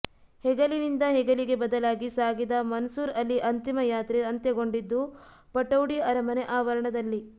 ಹೆಗಲಿನಿಂದ ಹೆಗಲಿಗೆ ಬದಲಾಗಿ ಸಾಗಿದ ಮನ್ಸೂರ್ ಅಲಿ ಅಂತಿಮ ಯಾತ್ರೆ ಅಂತ್ಯಗೊಂಡಿದ್ದು ಪಟೌಡಿ ಅರಮನೆ ಆವರಣದಲ್ಲಿ